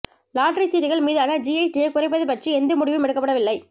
lottery சீட்டுகள் மீதான ஜிஎஸ்டியை குறைப்பது பற்றி எந்த முடிவும் எடுக்கப்படவில்லை